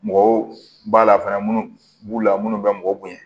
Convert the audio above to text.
Mɔgɔw b'a la fana munnu b'u la minnu bɛ mɔgɔ bonya